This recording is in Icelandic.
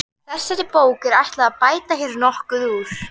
Þessari bók er ætlað að bæta hér nokkuð úr.